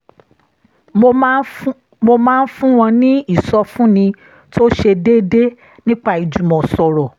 mo máa ń fún wọn ní ìsọfúnni tó ṣe déédéé nípa ìjùmọ̀sọ̀rọ̀